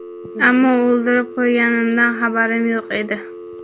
ammo o‘ldirib qo‘yganimdan xabarim yo‘q edi.